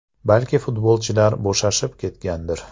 Balki, futbolchilar bo‘shashib ketgandir.